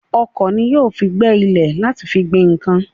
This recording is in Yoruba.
Ọ̀kọ̀ ni wọn yóò fi gbẹ́ ilẹ̀ láti fi gbin nǹkan.